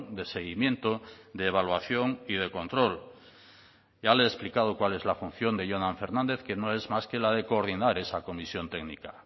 de seguimiento de evaluación y de control ya le he explicado cuál es la función de jonan fernández que no es más que la de coordinar esa comisión técnica